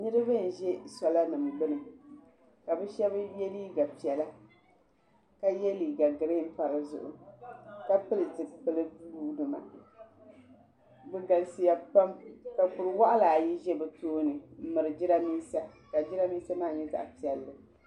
Niriba n ʒi sola nima gbini ka bɛ sheba ye liiga piɛla ka ye liiga girin m pa dizuɣu ka pili zipili buluu bɛ galisiya pam ka kuri waɣala ayi za bɛ tooni m miri jirambisa ka jirambisa maa nyɛ zaɣa piɛli.